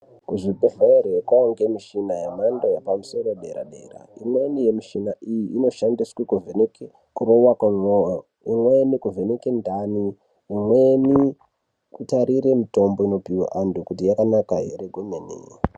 Kuzvibhedhleya kwane michina yemhando yepamusoro . Imweni yemichina iyi inoshandiswa kuvheneke ndani imweni kutarira mitombo unopiwa antu kuti yakanaka ere kwemene.